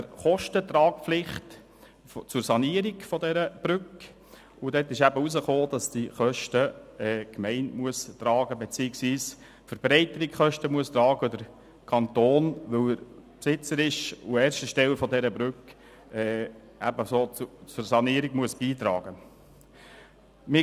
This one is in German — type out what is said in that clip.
Dabei stellte sich heraus, dass die Gemeinde die Kosten beziehungsweise die Verbreiterungskosten tragen muss und der Kanton, weil er Besitzer an erster Stelle der Brücke ist, ebenso zur Sanierung beitragen muss.